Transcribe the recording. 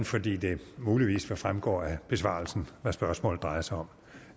fordi det muligvis vil fremgå af besvarelsen hvad spørgsmålet drejer sig om